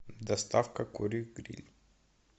доставка курей гриль